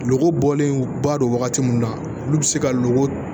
Lɔgɔ bɔlen ba don wagati min na olu bɛ se ka loko